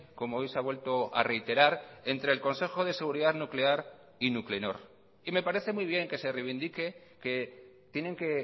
como hoy se ha vuelto a reiterar entre el consejo de seguridad nuclear y nuclenor y me parece muy bien que se reivindique que tienen que